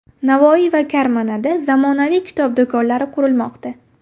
Navoiy va Karmanada zamonaviy kitob do‘konlari qurilmoqda.